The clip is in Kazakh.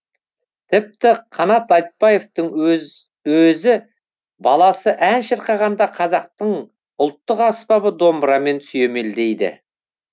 тіпті қанат айтбаевтың өзі баласы ән шырқағанда қазақтың ұлттық аспабы домбырамен сүйемелдейді